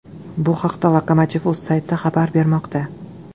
Bu haqda lokomotiv.uz sayti xabar bermoqda.